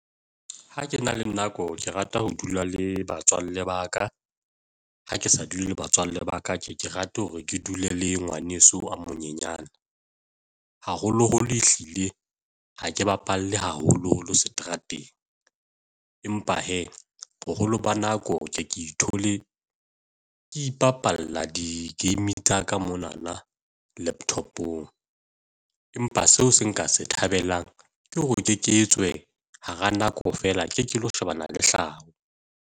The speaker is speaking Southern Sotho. Ha ke na le nako ke rata ho dula le batswalle ba ka, ha ke sa dule le batswalle ba ka, ke ke rate hore ke dule le ngwaneso a monyenyana. Haholoholo ehlile ha ke bapalle haholoholo seterateng, empa hee boholo ba nako ho ke e ke ithole ke ipapalla di-game tsa ka mona na laptop-ong, empa seo se nka se thabelang ke hore ke ke etswe hara nako feela, ke ke lo shebana le hlaho.